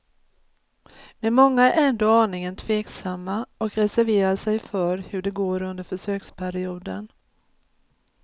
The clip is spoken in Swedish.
Men många är ändå aningen tveksamma och reserverar sig för hur det går under försöksperioden.